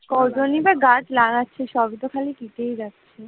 কজনই বা গাছ লাগাছে গাছ তো সব কেটে যাচ্ছে।